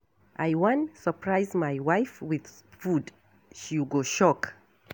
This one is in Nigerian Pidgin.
I wan surprise my wife with food. She go shock.